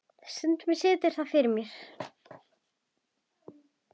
Stundum situr það fyrir mér.